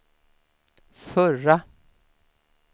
förra